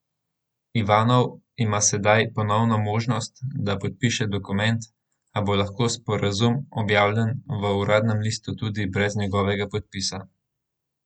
Ivanov ima sedaj ponovno možnost, da podpiše dokument, a bo lahko sporazum objavljen v uradnem listu tudi brez njegovega podpisa.